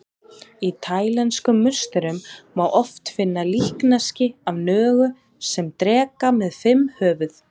Í taílenskum musterum má oft finna líkneski af nögu sem dreka með fimm höfuð.